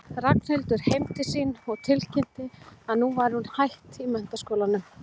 Ragnhildur heim til sín og tilkynnti að nú væri hún hætt í menntaskólanum.